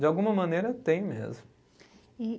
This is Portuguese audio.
De alguma maneira, tem mesmo. E